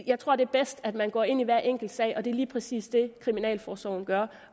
jeg tror det er bedst at man går ind i hver enkelt sag og det er lige præcis det kriminalforsorgen gør